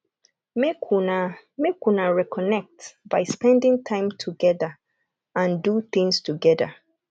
make una make una reconnect by spending time together and do things together